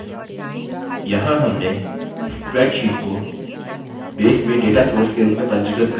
यहाँ हमने spreadsheet को base में data source के रूप में पंजीकृत कर लिया है